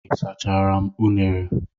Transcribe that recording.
Ị sachara m unara?